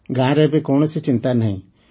ଗାଁରେ ଏବେ କୌଣସି ଚିନ୍ତା ନାହିଁ